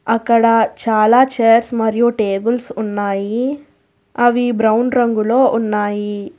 అక్కడ చాలా చైర్స్ మరియు టేబుల్స్ ఉన్నాయి అవి బ్రౌన్ రంగులో ఉన్నాయి.